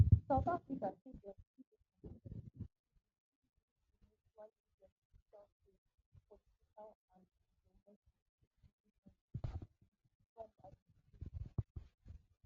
south africa say dem still dey committed to building a mutually beneficial trade political and diplomatic relationship wit trump administration